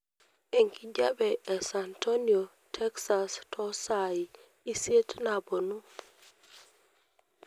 enkijape e san antonio texas to sai isiet naponu